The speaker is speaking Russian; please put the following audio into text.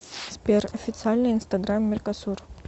сбер официальный инстаграм меркосур